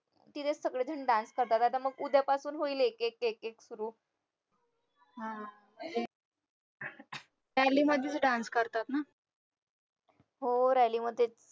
तिथेच सगळेजण dance करता करता मग उद्यापासून होईल एक एक एक एक सुरू हो rally मध्येच